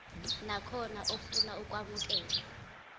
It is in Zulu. nakhona ofuna ukwamukelwa